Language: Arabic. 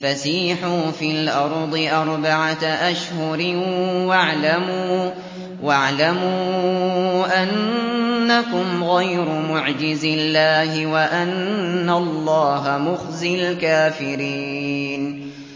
فَسِيحُوا فِي الْأَرْضِ أَرْبَعَةَ أَشْهُرٍ وَاعْلَمُوا أَنَّكُمْ غَيْرُ مُعْجِزِي اللَّهِ ۙ وَأَنَّ اللَّهَ مُخْزِي الْكَافِرِينَ